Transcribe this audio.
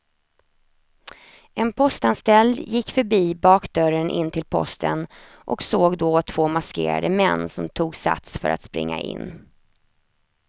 En postanställd gick förbi bakdörren in till posten och såg då två maskerade män som tog sats för att springa in.